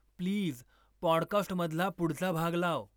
Please पॉडकास्टमधला पुढचा भाग लाव.